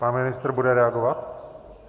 Pan ministr bude reagovat?